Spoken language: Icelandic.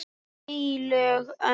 HEILÖG ÖND